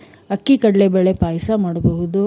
ಅಕ್ಕಿ ಕಡ್ಲೆ ಬೆಲೆ ಪಾಯ್ಸ ಮಾಡ್ಬಹುದು.